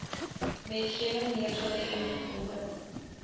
wetgewing neergelê ingevolge